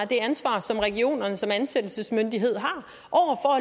det ansvar som regionerne som ansættelsesmyndighed har